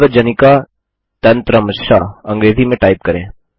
सार्वजनिका तंत्रांश अंग्रेजी में टाइप करें